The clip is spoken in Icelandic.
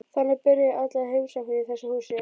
Þannig byrja allar heimsóknir í þessu húsi.